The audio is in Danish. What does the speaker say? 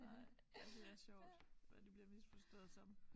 Nej ja det er sjovt hvad det bliver misforstået som